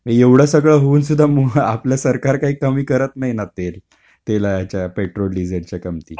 मग येवढं सगळं होऊन सुद्धा आपलं सरकार काही कमी करत नाही ना तेल. तेलाच्या पेट्रोल डिझेलच्या किमती.